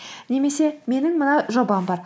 немесе менің мына жобам бар